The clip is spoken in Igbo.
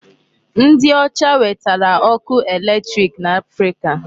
Ndị ọcha wetara ọkụ electric n'Africa.